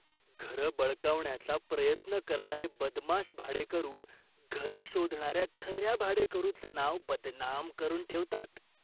घरं बळकावण्याचा प्रयत्न करणारे बदमाश भाडेकरू घरं शोधणाऱ्या खऱ्या भाडेकरूचं नाव बदनाम करून ठेवतात.